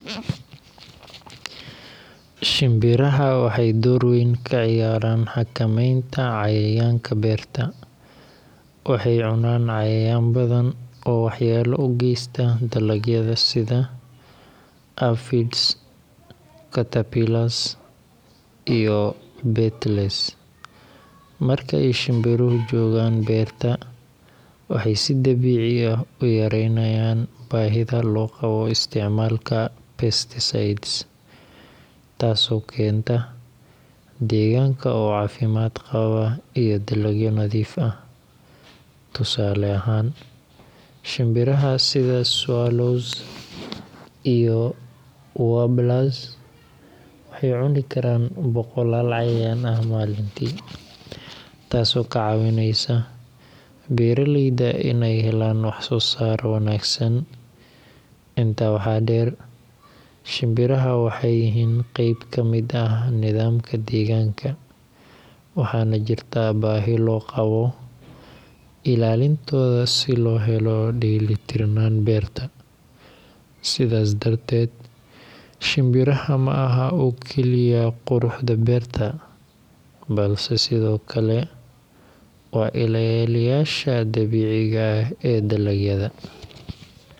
Shinbiraha waxay door weyn ka ciyaaraan xakamaynta cayayaanka beerta. Waxay cunaan cayayaan badan oo waxyeelo u geysta dalagyada sida aphids, caterpillars, iyo beetles. Marka ay shinbiruhu joogaan beerta, waxay si dabiici ah u yaraynayaan baahida loo qabo isticmaalka pesticides, taasoo keenta deegaanka oo caafimaad qaba iyo dalagyo nadiif ah. Tusaale ahaan, shinbiraha sida swallows iyo warblers waxay cuni karaan boqolaal cayayaan ah maalintii, taasoo ka caawinaysa beeraleyda in ay helaan wax-soosaar wanaagsan. Intaa waxaa dheer, shinbiraha waxay yihiin qayb ka mid ah nidaamka deegaanka, waxaana jirta baahi loo qabo ilaalintooda si loo helo dheelitirnaanta beerta. Sidaas darteed, shinbiraha ma aha oo kaliya quruxda beerta, balse sidoo kale waa ilaaliyeyaasha dabiiciga ah ee dalagyada.